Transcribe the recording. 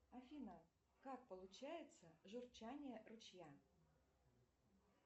афина как получается журчание ручья